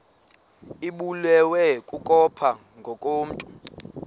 ibulewe kukopha ngokomntu